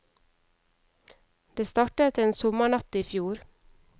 Det startet en sommernatt i fjor.